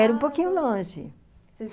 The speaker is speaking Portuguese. Era um pouquinho longe.